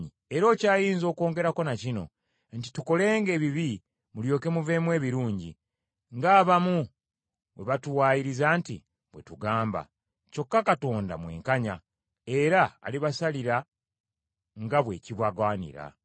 Era okyayinza okwongerako na kino nti tukolenga ebibi mulyoke muveemu ebirungi, ng’abamu bwe batuwaayiriza nti, bwe tugamba. Kyokka Katonda mwenkanya, era alibasalira nga bwe kibagwanira.